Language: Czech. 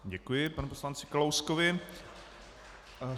Děkuji panu poslanci Kalouskovi.